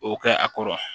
O kɛ a kɔrɔ